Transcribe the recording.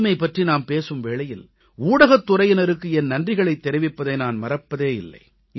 தூய்மை பற்றி நாம் பேசும் வேளையில் ஊடகத் துறையினருக்கு என் நன்றிகளைத் தெரிவிப்பதை நான் மறப்பதே இல்லை